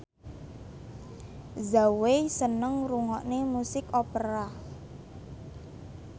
Zhao Wei seneng ngrungokne musik opera